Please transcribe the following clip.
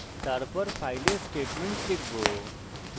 তারপর file we statements লিখব